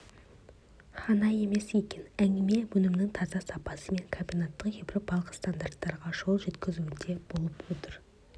ғана емес екен әңгіме өнімнің таза сапасы мен комбинаттың еуропалық стандарттарға қол жеткізуінде болып отыр